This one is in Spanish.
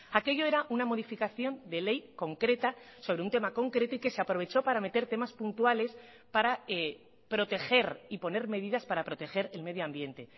aquello era una modificación de ley concreta sobre un tema concreto y que se aprovechó para meter temas puntuales para proteger y poner medidas para proteger el medio ambiente